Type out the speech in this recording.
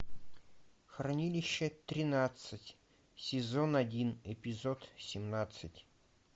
хранилище тринадцать сезон один эпизод семнадцать